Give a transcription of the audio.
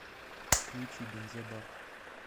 включи бензобак